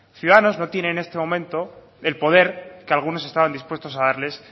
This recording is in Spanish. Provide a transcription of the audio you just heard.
ciudadanos no tiene en este momento el poder que algunos estaban dispuestos a darles